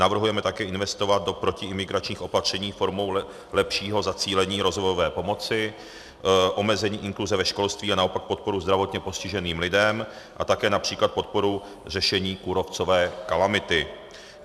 navrhujeme také investovat do protiimigračních opatření formou lepšího zacílení rozvojové pomoci, omezení inkluze ve školství a naopak podporu zdravotně postiženým lidem a také například podporu řešení kůrovcové kalamity.